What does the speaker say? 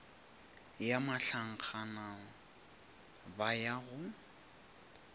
ya mahlankgana ba ya go